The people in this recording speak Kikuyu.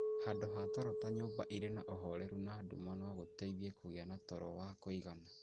Handũ ha toro ta nyũmba ĩrĩ na ũhoreru na nduma no gũgũteithie kũgĩa na toro wa kũigana.